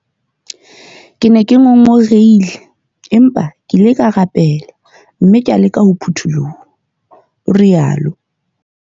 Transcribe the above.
"Ke ne ke ngongorohile, empa ke ile ka rapele mme ka leka ho phuthuloha," o rialo.